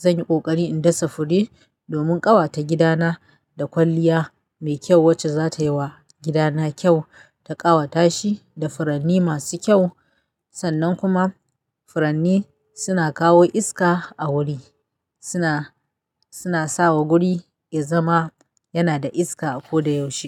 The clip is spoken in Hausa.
zanyi ƙoƙari in dasa fure domin ƙawata gidana da kwalliya mai kyau wacce zatayi wa gidana kyau ta ƙawata shi da furanni masu kyau. Sannan kuma furanni suna kawo iska a wuri, suna, suna sawa guri yazama yana da iska a ko da yaushe.